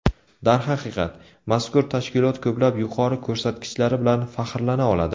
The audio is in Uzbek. Darhaqiqat, mazkur tashkilot ko‘plab yuqori ko‘rsatkichlari bilan faxrlana oladi.